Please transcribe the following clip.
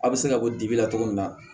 A bɛ se ka bɔ dibi la cogo min na